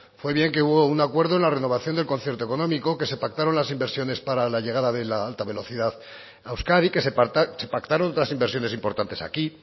fue bien que hubo un acuerdo en la renovación del concierto económico que se pactaron las inversiones para la llegada de la alta velocidad a euskadi que se pactaron otras inversiones importantes aquí